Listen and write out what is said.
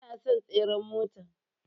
Kun yana son tseren mota.